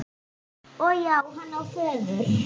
Og já, hann á föður.